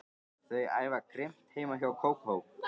Þau æfa grimmt heima hjá Kókó.